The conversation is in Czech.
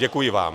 Děkuji vám.